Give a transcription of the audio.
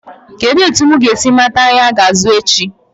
Kedụ etu m ga-esi mata ahịa ga-azụ echi?